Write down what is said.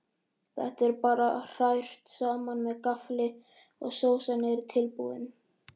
Þetta er bara hrært saman með gaffli og sósan er tilbúin.